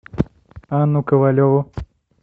анну ковалеву